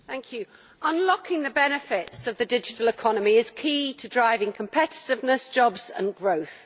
Mr President, unlocking the benefits of the Digital Economy is key to driving competitiveness, jobs and growth.